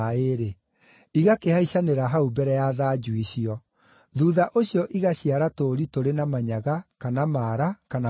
igakĩhaicanĩra hau mbere ya thanju icio. Thuutha ũcio igaciara tũũri tũrĩ na manyaga, kana maara, kana marooro.